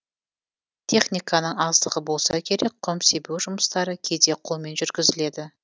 техниканың аздығы болса керек құм себу жұмыстары кейде қолмен жүргізіледі